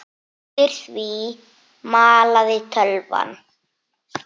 Undir því malaði tölvan.